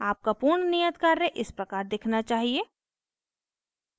आपका पूर्ण नियत कार्य इस प्रकार दिखना चाहिए